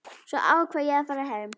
Svo ákvað ég að fara heim.